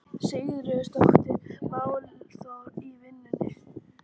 Sigríður: Óttastu málþóf í vikunni?